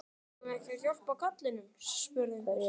Eigum við ekki að hjálpa karlinum? spurði einhver.